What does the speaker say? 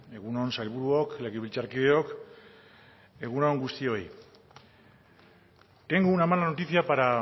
egun on sailburuok legebiltzarkideok egun on guztioi tengo una mala noticia para